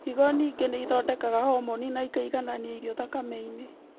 Higo ningĩ nĩithondekaga homoni na ikaiganania irio thakame-inĩ